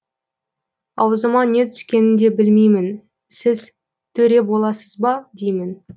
аузыма не түскенін де білмеймін сіз төре боласыз ба деймін